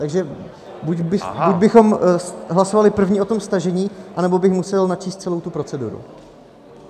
Takže buď bychom hlasovali první o tom stažení, nebo bych musel načíst celou tu proceduru.